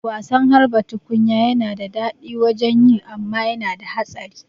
Wasan harba tukunya yana da daɗi wajen yi amma yana da hatsari